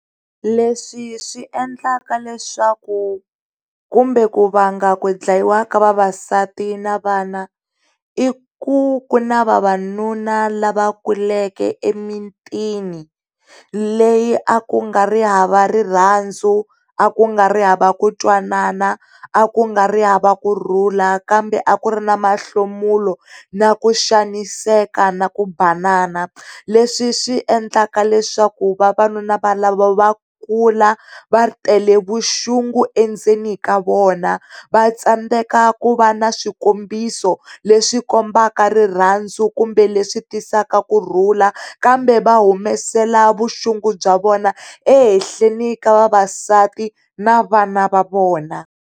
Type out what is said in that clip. Leswi swi endlaka leswaku, kumbe ku vanga ku dlayiwa ka vavasati na vana i ku ku na vavanuna lava kuleke emitini leyi a ku nga ri hava rirandza, a ku nga ri hava ku twanana, a ku ri nga ri hava kurhula, kambe a ku ri ni mahlomulelo, na ku xaniseka na ku banana leswi swi endlaka leswaku vavanuna valava va kula va tele vuxungu endzeni ka vona va tsandzeka ku va na swikombiso leswi kombaka rirhandza kumbe leswi tisaka kurhula kambe vahumasela vuxungu bya vona ehehleni ka vavasati na vana va vona.